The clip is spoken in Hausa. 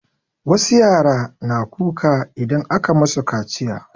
Wasu yara na kuka idan aka masu kaciya.